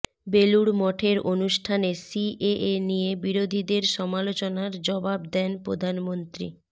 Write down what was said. বেলুড় মঠের অনুষ্ঠানে সিএএ নিয়ে বিরোধীদের সমালোচনার জবাব দেন প্রধানমন্ত্রী